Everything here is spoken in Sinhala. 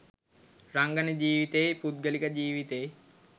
රංගන ජීවිතෙයි පුද්ගලික ජීවිතෙයි